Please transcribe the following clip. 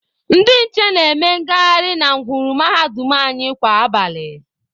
Ndị nche na-eme ngaharị na ngwuru mahadum anyị kwa abalị.